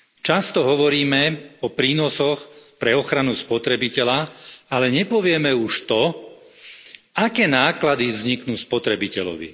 Často hovoríme o prínosoch pre ochranu spotrebiteľa, ale nepovieme už to, aké náklady vzniknú spotrebiteľovi.